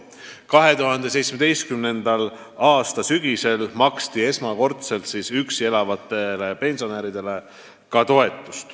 2017. aasta sügisel maksti esimest korda toetust üksi elavatele pensionäridele.